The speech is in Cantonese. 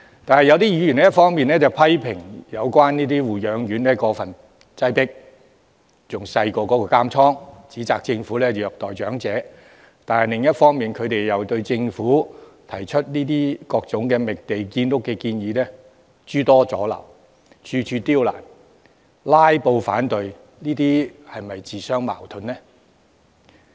但是，有議員一方面批評現有護養院過分擠迫，面積比監倉還小，指摘政府虐待長者，但另一方面又對政府提出各種覓地建屋的建議諸多阻撓，處處刁難，"拉布"反對，這樣是否自相矛盾呢？